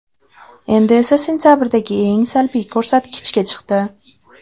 Endi esa sentabrdagi eng salbiy ko‘rsatkichga chiqdi.